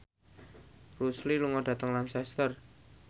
Bruce Lee lunga dhateng Lancaster